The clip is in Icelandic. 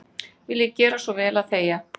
Viljiði gera svo vel að þegja.